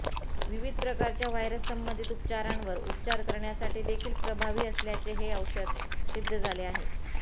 विविध प्रकारच्या व्हायरस संबंधित आजारांवर उपचार करण्यासाठी देखील प्रभावी असल्याचे हे औषध सिद्ध झाले आहे